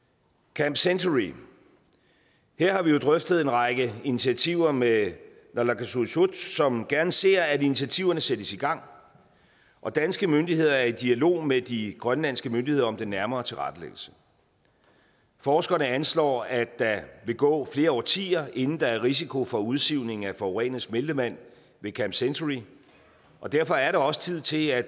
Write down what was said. camp century her har vi jo drøftet en række initiativer med naalakkersuisut som gerne ser at initiativerne sættes i gang og danske myndigheder er i dialog med de grønlandske myndigheder om den nærmere tilrettelæggelse forskerne anslår at der vil gå flere årtier inden der er risiko for udsivning af forurenet smeltevand ved camp century og derfor er der også tid til at